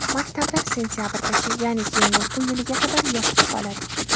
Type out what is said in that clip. Maktablar sentabrgacha, ya’ni keyingi o‘quv yiliga qadar yopiq qoladi.